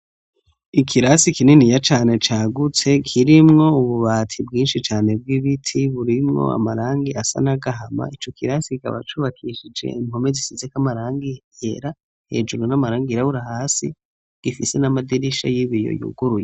Ikirasi kinini ya cane cagutse, kirimwo ububati bwinshi cane bw'ibiti, burimwo amarangi asa n'agahama, ico kirasi ikaba cubakishije impome zisize k amarangi yera, hejuru n'amarangi yirabura, hasi gifise n'amadirisha y'ibiyo yuguruye.